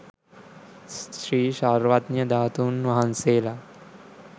ශ්‍රී සර්වඥ ධාතුන් වහන්සේලා